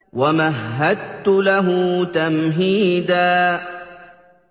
وَمَهَّدتُّ لَهُ تَمْهِيدًا